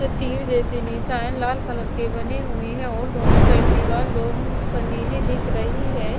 और तीर जैसी निशाना लाल कलर के बने हुए है और दोनों साइड दीवाल लो नीली दिख रही है।